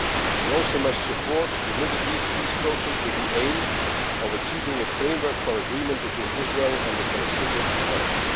We also must support the Middle East peace process, with the aim of achieving a framework for agreement between Israel and the Palestinian Authority.